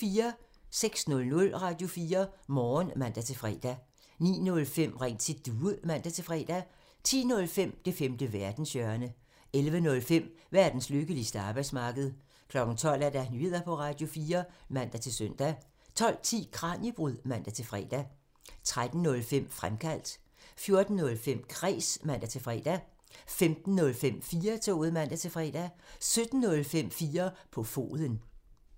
06:00: Radio4 Morgen (man-fre) 09:05: Ring til Due (man-fre) 10:05: Det femte verdenshjørne (man) 11:05: Verdens lykkeligste arbejdsmarked (man) 12:00: Nyheder på Radio4 (man-søn) 12:10: Kraniebrud (man-fre) 13:05: Fremkaldt (man) 14:05: Kræs (man-fre) 15:05: 4-toget (man-fre) 17:05: 4 på foden (man)